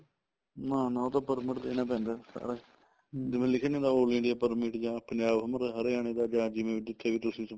ਨਾ ਨਾ ਉਹਦਾ permit ਲੈਣਾ ਪੈਂਦਾ ਸਾਰਾ ਜਿਵੇਂ ਲਿੱਖਿਆ ਨੀ ਹੁੰਦਾ all India permit ਜਾਂ ਪੰਜਾਬ ਹਰਿਆਣਾ ਜਾਂ ਜਿਵੇਂ ਵੀ ਜਿੱਥੇ ਵੀ ਤੁਸੀਂ